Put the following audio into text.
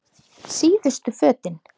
Síðustu fötin.